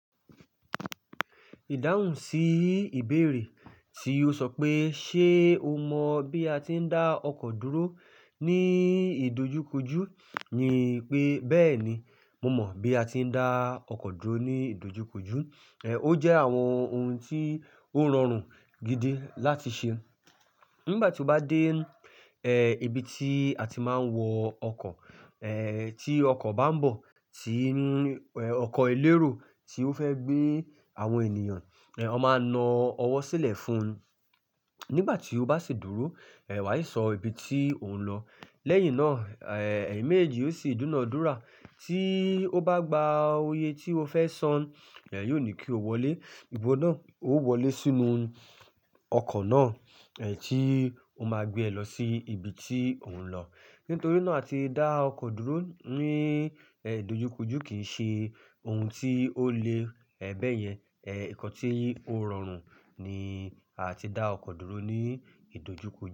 Ìdáhùn sí ìbéèrè tí o sọ pé ṣe o mọ bí a ti ń dá ọkọ̀ dúró ní ìdojúkojú ni pé, bẹ́ẹ̀ni, mo mọ bí a ti ń dá ọkọ̀ dúró ní ìdojúkojú. Ó jẹ́ àwọn ohun tí ó rọrùn gidi láti ṣe. Nígbà tí o bá dé, ibi tí a ti máa ń wọ ọkọ̀, tí ọkọ̀ bá ń bọ̀, tí, ọkọ̀ elérò tí ó fẹ́ gbé àwọn ènìyàn, ò máa ń na ọwọ́ sílẹ̀ fún un. Nígbà tí ó bá sì dúró, wà è sọ ibi tí òun ń lọ. Lẹ́yìn náà, eyín mẹ̀èjì ó sì dúna dúra, tí ó bá gba òye tí ó fẹ́ san, yóò ní kí o wọlé. Iwo náà, o wọlé sínú ọkọ̀ náà, tí ó máa gbé ẹ lọ sí ibi tí òun ń lọ. Nítorí náà, àti dá ọkọ̀ dúró ní, ìdojúkojú kì í ṣe ohun tí ó le, bẹ́ẹ̀yẹn. Ẹ̀, nǹkan tí ó rọrùn ni àti dá ọkọ̀ dúró ní ìdojúkojú.